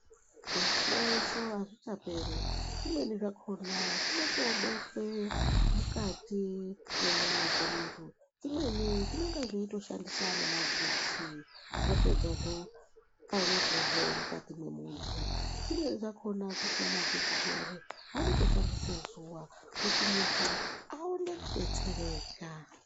Zvihloyeso azvichaperi zvimweni zvakona zvinotobetsera mukati mwenyama dzemuntu imweni inonga yeitoshandisa nemagetsi zvapedza zvoopfanyirwa zvee mukati memuntu, zvimweni zvakona kusina magetsi zviyani vanotoshandise zuva kuti muntu aone kudetsereka.